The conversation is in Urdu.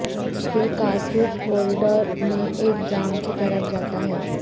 یہ کارتوس ہولڈر میں ایک جام کی طرف جاتا ہے